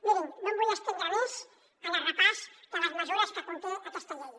mirin no em vull estendre més en el repàs de les mesures que conté aquesta llei